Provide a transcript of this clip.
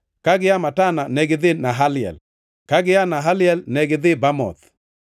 ka gia Matana negidhi Nahaliel, ka gia Nahaliel negidhi Bamoth,